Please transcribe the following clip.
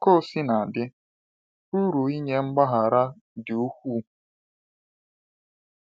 Ka o sina dị, uru nke inye mgbaghara dị ukwuu.